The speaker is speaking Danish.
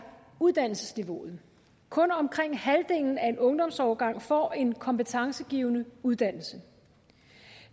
uddannelsesniveauet kun omkring halvdelen af en ungdomsårgang får en kompetencegivende uddannelse